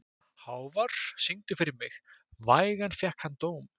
Hávar, syngdu fyrir mig „Vægan fékk hann dóm“.